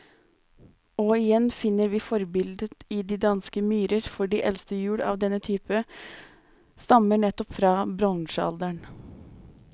Og igjen finner vi forbildet i de danske myrer, for de eldste hjul av denne type stammer nettopp fra bronsealderen.